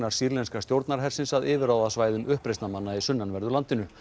sýrlenska stjórnarhersins að yfirráðasvæðum uppreisnarmanna í sunnanverðu landinu